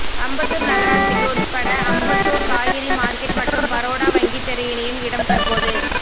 அம்பத்தூர் நகராட்சிக்கு உள்பட்ட அம்பத்தூர் காய்கறி மார்க்கெட் மற்றும் பரோடா வங்கி தெரு இணையும் இடம் தற்போது